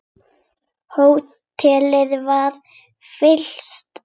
Hótelið var fyrsta flokks.